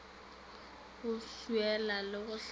go swiela le go hlapa